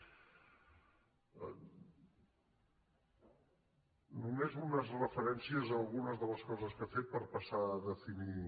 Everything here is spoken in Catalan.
només unes referències a algunes de les coses que ha fet per passar a definir